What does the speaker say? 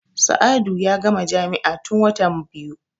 Sa'adu ya gama jami'a tun watan biyu.